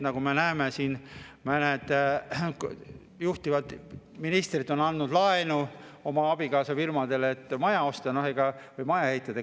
Nagu me näeme, mõned juhtivad ministrid on andnud laenu oma abikaasa firmadele, et maja osta või maja ehitada.